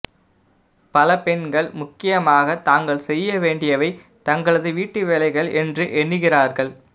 பல பெண்கள் முக்கியமாக தாங்கள் செய்ய வேண்டியவை தங்களது வீட்டுவேலைகள் என்று எண்ணுகிறார்கள்